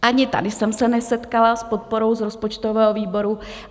Ani tady jsem se nesetkala s podporou z rozpočtového výboru.